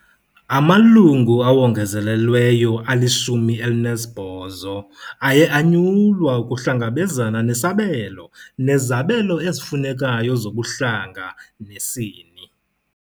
Amalungu awongezelelweyo ali-18 aye anyulwa ukuhlangabezana nesabelo nezabelo ezifunekayo zobuhlanga nesini